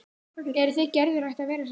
Eruð þið Gerður hætt að vera saman?